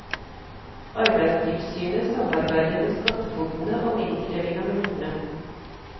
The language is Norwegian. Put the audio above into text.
Arbeidstilsynet samarbeider med skattefogdene om innkreving av mulktene.